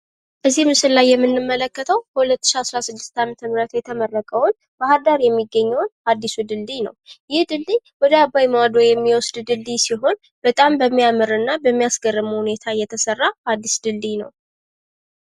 እዚህ ምስል ላይ የምንለከተው በ2016 የተመረቅውን ባህር ዳር የሚገነውን አዲሱን ድልድይ ነው። ይህ ድልድይ ወደ አባይ ማዶ የሚወስድ ድልድይ ሲሆን በጣም በሚያምር እና በሚያስገርም ሁኔታ የተሰራ አዲስ ድልድይ ነው።